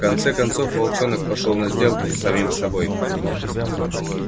в конце концов волчонок пошёл на сделку с самим собой